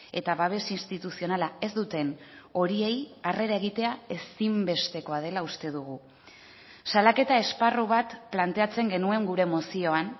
eta babes instituzionala ez duten horiei harrera egitea ezinbestekoa dela uste dugu salaketa esparru bat planteatzen genuen gure mozioan